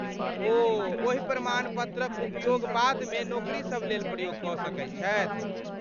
ओ ओहि प्रमाणपत्रक उपयोग बादमे नोकरीसब लेल प्रयोग कऽ सकैत छथि।